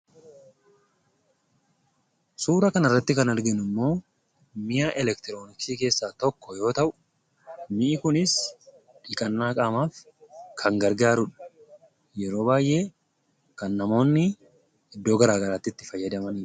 Suurri asirratti argaa jirru kun immoo suura elektirooniksii yoo ta'u , miini kunis dhiqannaa qaamaaf kan gargaarudha. Kan namoonni yeroo baay'ee itti fayyadamaniidha.